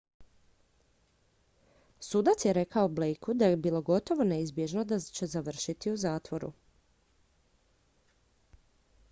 "sudac je rekao blakeu da je bilo "gotovo neizbježno" da će završiti u zatvoru.